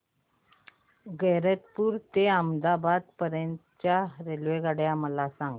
गैरतपुर ते अहमदाबाद पर्यंत च्या रेल्वेगाड्या मला सांगा